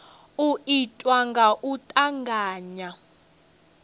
u itwa nga u tavhanya